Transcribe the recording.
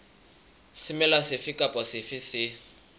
semela sefe kapa sefe se